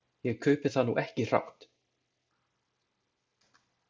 Ég kaupi það nú ekki hrátt.